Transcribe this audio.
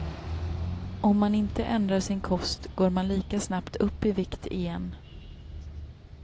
Om man inte ändrar sin kost går man lika snabbt upp i vikt igen.